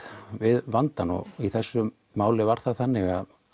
við vandann og í þessu máli var það þannig